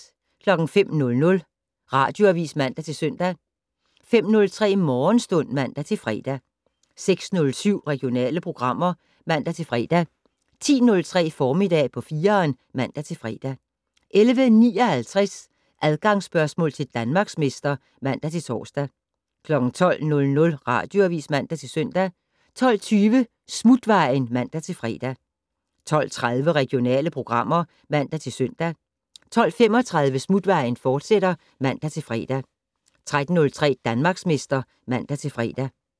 05:00: Radioavis (man-søn) 05:03: Morgenstund (man-fre) 06:07: Regionale programmer (man-fre) 10:03: Formiddag på 4'eren (man-fre) 11:59: Adgangsspørgsmål til Danmarksmester (man-tor) 12:00: Radioavis (man-søn) 12:20: Smutvejen (man-fre) 12:30: Regionale programmer (man-søn) 12:35: Smutvejen, fortsat (man-fre) 13:03: Danmarksmester (man-fre)